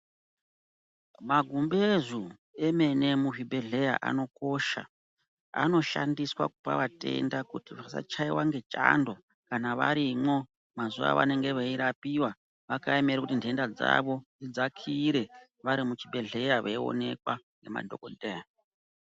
Magumbezu emene emuzvibhedhlera anokosha. Anoshandiswa kupa vatenda kuti vasachaiwa ngechando varimo mazuva avanenge vakapiwa vakaemera kuti nhenda dzavo dzidzakire varimuchibhedhlera veionekwa ngemadhogodheya.